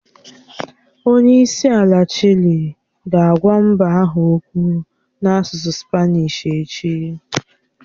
Onye isi ala Chile ga-agwa mba ahụ okwu n'asụsụ Spanishi echi.